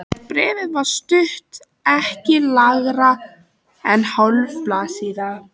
Bréfið var stutt, ekki lengra en hálf blaðsíða.